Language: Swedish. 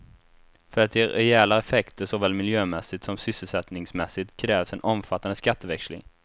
För att ge rejäla effekter såväl miljömässigt som sysselsättningsmässigt krävs en omfattande skatteväxling.